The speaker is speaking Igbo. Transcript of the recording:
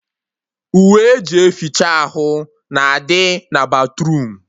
Uwe eji eficha ahụ na-adị na batruum